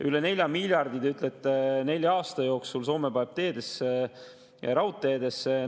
Üle 4 miljardi, te ütlete, paneb Soome nelja aasta jooksul teedesse ja raudteedesse.